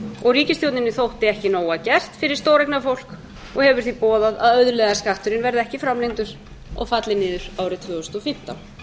og ríkisstjórninni þótti ekki nóg að gert fyrir stóreignafólk og hefur því boðað að auðlegðarskatturinn verði ekki framlengdur og falli niður árið tvö þúsund og fimmtán